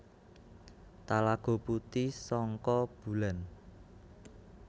Talago Puti Sangka Bulan